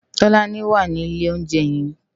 Tolani wá ni ilé óunjè yèn